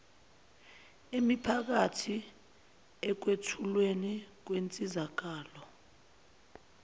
emiphakathi ekwethulweni kwensizakalo